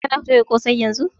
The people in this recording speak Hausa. Kana toya ƙosai yanzun?